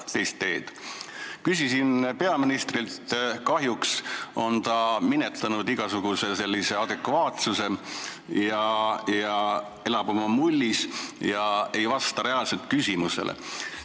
Küsisin selle kohta peaministrilt, kahjuks on ta minetanud igasuguse adekvaatsuse, elab oma mullis ega vasta reaalselt küsimustele.